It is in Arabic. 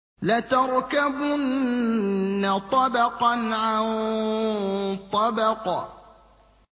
لَتَرْكَبُنَّ طَبَقًا عَن طَبَقٍ